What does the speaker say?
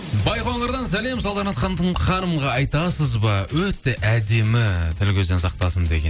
байқоңырдан сәлем салтанат ханымға айтасыз ба өте әдемі тіл көзден сақтасын деген